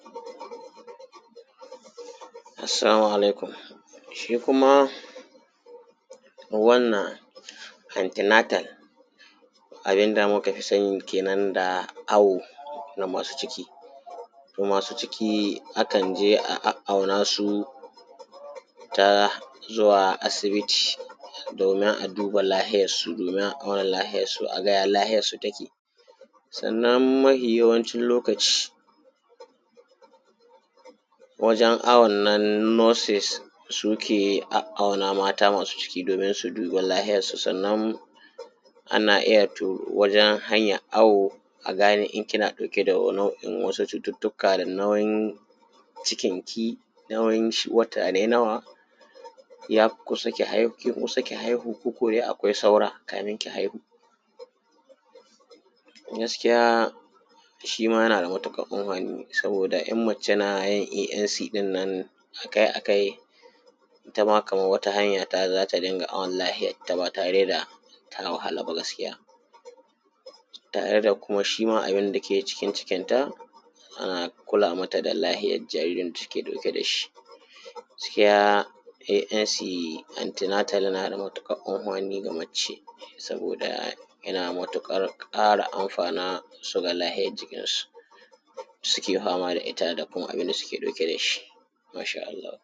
Assalmu alaikum shi kuma wannan antinatala abin da muka fi sani kenan awo. Na masu ciki to masu ciki akan je a awonsu ta zuwa asibiti domin a duba lafiyarsu a auna lafiyarsu a ga ya lafiyarsu take, sannna mafi yawancin lokaci wajen awon nan nosin suke auna mata masu ciki domin su duba lafiyarsu, sannan ana iya to wajen hanyan awo aga ne in kina ɗauke da cututtuaka ga nauyin cikin ki, nauyin shi wata nawa ne yafi kusa ki haihu ko akwai saura kamin ki haihu. Gaskiya shi ma yana da matuƙar amfani saboda in mace na zuwa ɗin nan akai-akai ita ma kaman wani hanya da za ta dinga awon lafiyarta ba tare da ta wahala ba. Gaskiya tare da kuma shi ma abun da ke cikin cikinta ka kula mata da lafiyar jaririn cikin da take ɗauke da shi, gaskiya an ce antinatal yana da matuƙar komami ga mace saboda yana da matuƙar ƙara amfana da lafiyar cikinta suke fama da ita da kuma abin da suke ɗauke da shi insha Allahu.